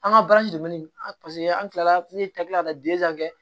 An ka an kilala ne ye tabiya ka kɛ